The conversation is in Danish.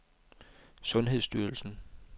sundhedsstyrelsen